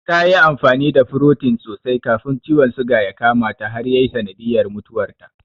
Ta yi amfani da furotin sosai kafin ciwon suga ya kamata da ya yi sanadiyar mutuwarta.